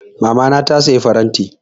Mamana ta saya faranti.